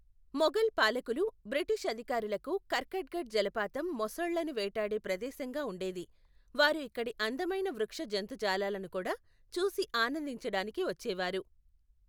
మొఘల్ పాలకులు, బ్రిటిష్ అధికారులకు కర్కట్గఢ్ జలపాతం మొసళ్ళను వేటాడే ప్రదేశంగా ఉండేది, వారు ఇక్కడి అందమైన వృక్ష జంతుజాలాలను కూడా, చూసి ఆనందించడానికి వచ్చేవారు.